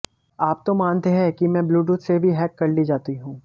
आप तो मानते हैं कि मैं ब्लूटूथ से भी हैक कर ली जाती हूँ